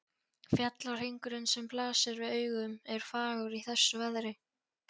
Fjallahringurinn, sem blasir við augum, er fagur í þessu veðri.